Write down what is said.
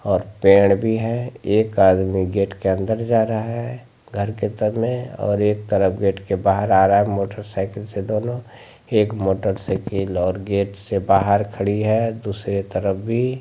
और पेड़ भी है एक आदमी गेट के अंदर जा रहा है घर के तन में और एक तरफ गेट के बाहर आ रहा है मोटरसाइकिल से दोनों एक मोटरसाइकिल और गेट से बाहर खड़ी है दुसरे तरफ भी।